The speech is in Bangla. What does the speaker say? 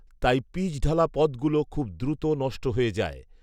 তাই পিচঢালা পথগুলো খুব দ্রুত নষ্ট হয়ে যায়